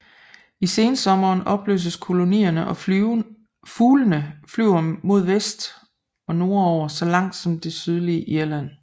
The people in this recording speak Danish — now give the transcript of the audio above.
I sensommeren opløses kolonierne og fuglene flyver mod vest og nordover så langt som til det sydlige Irland